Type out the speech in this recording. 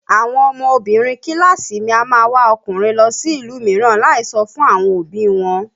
Àwọn ọmọbinrin kíláàsì mi a máa wá ọkùnrin lọ sí ìlú mìíràn láì sọ fún àwọn òbí i wọn